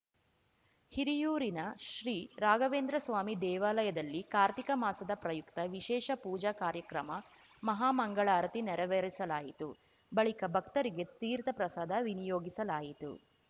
ಹಿರಿಯೂರಿನ ಶ್ರೀ ರಾಘವೇಂದ್ರಸ್ವಾಮಿ ದೇವಾಲಯದಲ್ಲಿ ಕಾರ್ತೀಕ ಮಾಸದ ಪ್ರಯುಕ್ತ ವಿಶೇಷ ಪೂಜಾ ಕಾರ್ಯಕ್ರಮ ಮಹಾಮಂಗಳಾರತಿ ನೆರವೇರಿಸಲಾಯಿತು ಬಳಿಕ ಭಕ್ತರಿಗೆ ತೀರ್ಥಪ್ರಸಾದ ವಿನಿಯೋಗಿಸಲಾಯಿತು